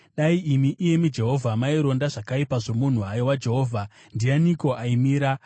Dai imi, iyemi Jehovha, maironda zvakaipa zvomunhu, haiwa Jehovha, ndianiko aimira?